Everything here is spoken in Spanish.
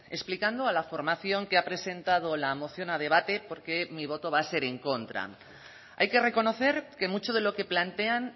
explicando a la formación que ha presentado la moción a debate por qué mi voto va a ser en contra hay que reconocer que mucho de lo que plantean